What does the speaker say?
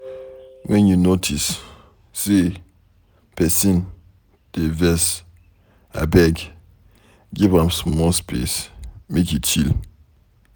wen you notice say pesin dey vex, abeg give am small space make e chill.